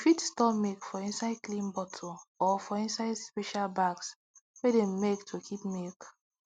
we fit store milk for inside clean bottles or for inside special bags wey dem make to keep milk